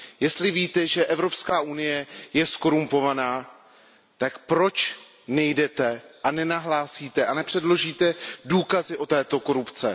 Jestli víte, že Evropská unie je zkorumpovaná, tak proč nejdete a nenahlásíte a nepředložíte důkazy o této korupci?